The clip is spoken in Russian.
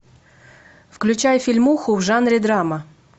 включай фильмуху в жанре драма